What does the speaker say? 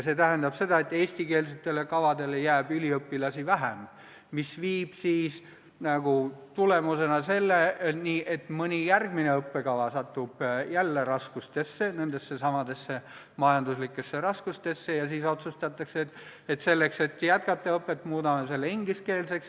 See tähendab seda, et eestikeelsetele õppekavadele jääb üliõpilasi vähem, mis viib selleni, et mõni järgmine õppekava satub raskustesse – nendesse samadesse majanduslikesse raskustesse –, ja siis otsustatakse, et selleks, et õpet jätkata, muudame selle ingliskeelseks.